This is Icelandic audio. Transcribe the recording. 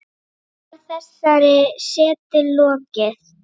Loks var þessari setu lokið.